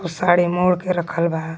उ साड़ी मोड़ के रखल बा.